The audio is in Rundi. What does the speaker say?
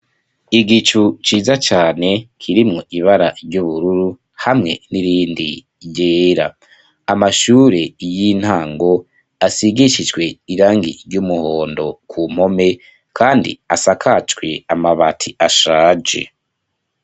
Igicu ciza cane kirimwo ibara ry'ubururu hamwe n'irindi ryera. Amashure y'intango asigishijwe irangi ry'umuhondo ku mpome kandi asakajwe amabati ashaje.